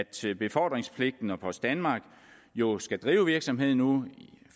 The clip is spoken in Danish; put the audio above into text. til befordringspligten at post danmark jo skal drive virksomheden nu